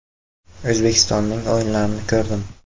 O‘zbekistonning o‘yinlarini ko‘rdim.